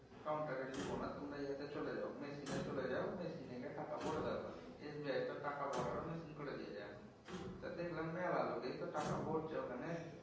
counter এ লিব না তোমরা ইয়েতে চলে যাও machine এ চলে যাও machine এ গিয়ে টাকা ভরে দাও গা। SBI তো টাকা ভরারও machine করে দিয়েছে এখন। টা দেখলাম মেলা লোকেই তো টাকা ভরছে ওখানে।